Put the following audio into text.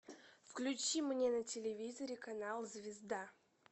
включи мне на телевизоре канал звезда